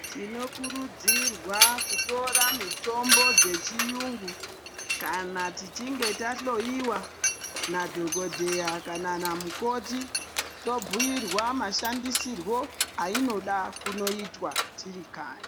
Tinokurudzirwa kutora mitombo dzechiungu kana tichinge tahloyiwa nadhokodheya kana namukoti. Tobuirwa mashandisiro ayinoda kunoyitwa tirikanyi.